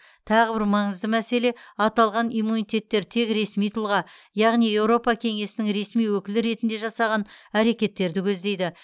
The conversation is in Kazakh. тағы бір маңызды мәселе аталған иммунитеттер тек ресми тұлға яғни еуропа кеңесінің ресми өкілі ретінде жасаған әрекеттерді көздейді